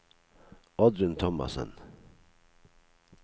Oddrun Thomassen